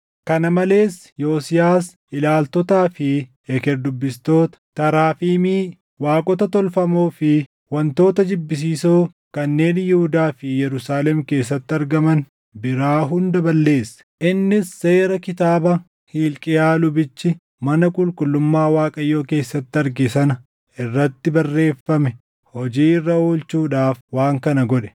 Kana malees Yosiyaas ilaaltotaa fi eker dubbistoota, taraafimii, waaqota tolfamoo fi wantoota jibbisiisoo kanneen Yihuudaa fi Yerusaalem keessatti argaman biraa hunda balleesse. Innis seera kitaaba Hilqiyaa lubichi mana qulqullummaa Waaqayyoo keessatti arge sana irratti barreeffame hojii irra oolchuudhaaf waan kana godhe.